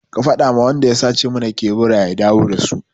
Ka faɗa ma wanda ya sata mana kebura ya dawo da su!